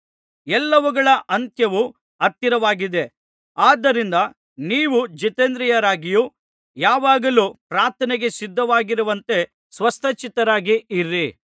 ಎಲ್ಲವುಗಳ ಅಂತ್ಯವು ಹತ್ತಿರವಾಗಿದೆ ಆದ್ದರಿಂದ ನೀವು ಜಿತೇಂದ್ರಿಯರಾಗಿಯೂ ಯಾವಾಗಲೂ ಪ್ರಾರ್ಥನೆಗೆ ಸಿದ್ಧವಾಗಿರುವಂತೆ ಸ್ವಸ್ಥಚಿತ್ತರಾಗಿಯೂ ಇರಿ